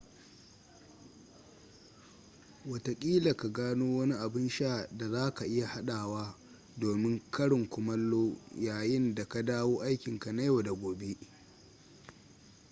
watakila ka gano wani abun sha da za ka iya haɗawa domin karin kumallo yayin da ka dawo aikinka na yau da gobe